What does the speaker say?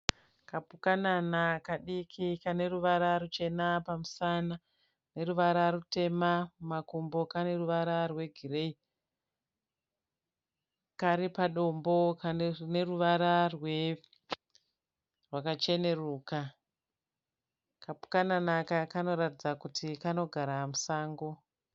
Kapukanana kadiki kaneruvara ruchena pamusana neruvara rutema mumakumbo kaneruvara rwegireyi. Karipadombo rineruvara rwakacheneruka. Kapukanana aka kanoratidza kuti kanogara musango.